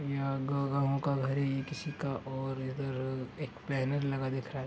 यहाँ का घर है ये किसी का और इधर एक बैनर लगा दिख रहा है।